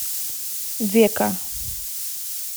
века